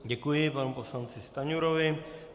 Děkuji panu poslanci Stanjurovi.